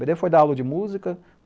Bê dê foi dar aula de música.